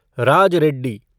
Raj Reddy